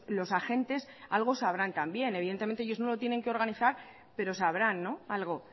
los agentes algo sabrán también evidentemente ellos no lo tienen que organizar pero sabrán algo